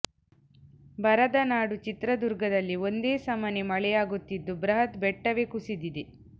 ಬರದ ನಾಡು ಚಿತ್ರದುರ್ಗದಲ್ಲಿ ಒಂದೇ ಸಮನೆ ಮಳೆಯಾಗುತ್ತಿದ್ದು ಬೃಹತ್ ಬೆಟ್ಟವೇ ಕುಸಿದಿದೆ